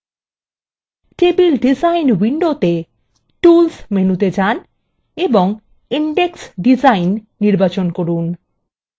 table design window tools মেনুতে যান এবং index ডিজাইন নির্বাচন করুন